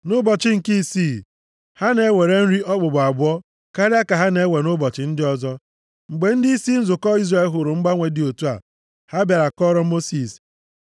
Nʼụbọchị nke isii, ha na-ewere nri okpukpu abụọ karịa ka ha na-ewe nʼụbọchị ndị ọzọ. Mgbe ndịisi nzukọ Izrel hụrụ mgbanwe dị otu a, ha bịara kọọrọ Mosis.